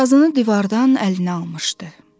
Sazını divardan əlinə almışdı.